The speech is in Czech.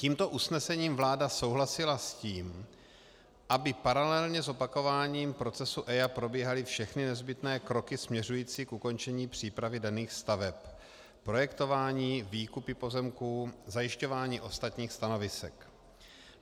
Tímto usnesením vláda souhlasila s tím, aby paralelně s opakováním procesu EIA probíhaly všechny nezbytné kroky směřující k ukončení přípravy daných staveb - projektování, výkupy pozemků, zajišťování ostatních stanovisek.